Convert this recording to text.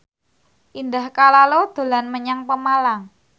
Indah Kalalo dolan menyang Pemalang